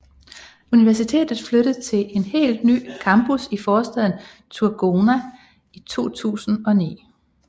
Universitetet flyttede til et helt nyt campus i forstaden Thurgoona i 2009